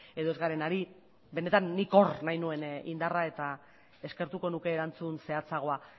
edo ez garen ari benetan nik hor nahi nuen indarra eta eskertuko nuke erantzun zehatzagoa